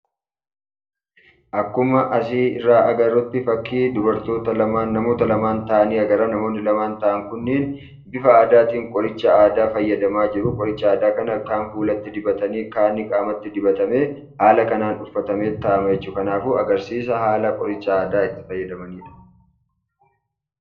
Akkuma asii irratti ilaallutti namoota lama taa'anii jiran agarra. Namoonni taa'an kun lamaan bifa aadaatiin qoricha aadaa fayyadamaa jiru. Qoricha aadaa kana kaan fuulatti dibatanii kaan qaamatti dibatanii haala kanaan dibatamee taa'ama jechuudha. Kanaafuu agarsiisa haala ittiin qoricha aadaa fayyadamanidha.